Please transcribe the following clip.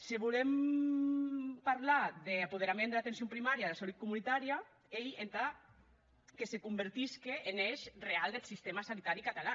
se volem parlar d’apoderament dera atencion primària e dera salut comunitària ei entà que se convertisque en èish reau deth sistèma sanitari catalan